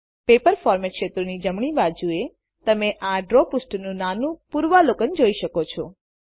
paper format ક્ષેત્રોની જમણી બાજુએ તમે આ ડ્રો પૃષ્ઠનું નાનું પૂર્વાવલોકન જોઈ શકશો